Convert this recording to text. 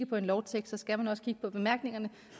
på en lovtekst skal man også kigge på bemærkningerne